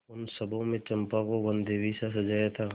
उन सबों ने चंपा को वनदेवीसा सजाया था